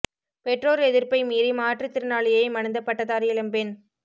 பெற்றோர் எதிர்ப்பை மீறி மாற்று திறனாளியை மணந்த பட்டதாரி இளம் பெண்